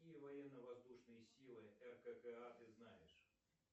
какие военно воздушные силы ркка ты знаешь